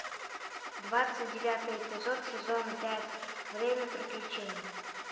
двадцать девятый эпизод сезона пять время приключений